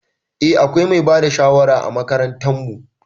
Eh akwai mai bada shawara a makarantan mu.